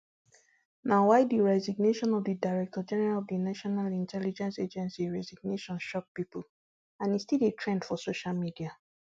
na why di resignation of di director general of di national intelligence agency resignation shock pipo and e still dey trend for social media